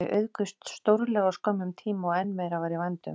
Þau auðguðust stórkostlega á skömmum tíma og enn meira var í vændum.